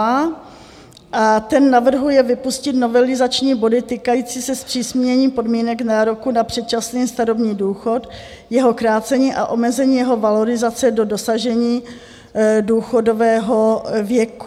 A ten navrhuje vypustit novelizační body týkající se zpřísnění podmínek nároku na předčasný starobní důchod, jeho krácení a omezení jeho valorizace do dosažení důchodového věku.